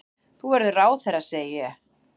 Þú verður ráðherra, segi ég.